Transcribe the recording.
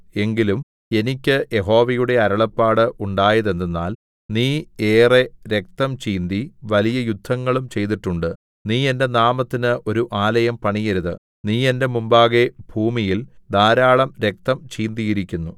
എങ്കിലും എനിക്ക് യഹോവയുടെ അരുളപ്പാട് ഉണ്ടായതെന്തെന്നാൽ നീ ഏറെ രക്തം ചിന്തി വലിയ യുദ്ധങ്ങളും ചെയ്തിട്ടുണ്ട് നീ എന്റെ നാമത്തിന് ഒരു ആലയം പണിയരുത് നീ എന്റെ മുമ്പാകെ ഭൂമിയിൽ ധാരാളം രക്തം ചിന്തിയിരിക്കുന്നു